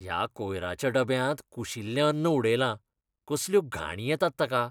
ह्या कोयऱ्याच्या डब्यांत कुशिल्लें अन्न उडयलां. कसल्यो घाणी येतात ताका!